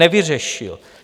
Nevyřešil.